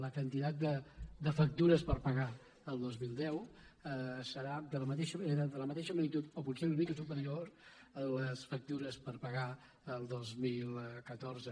la quantitat de factures per pagar el dos mil deu serà de la matei·xa magnitud o potser una mica superior a les factures per pagar el dos mil catorze